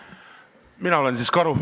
Mina olen siis karu.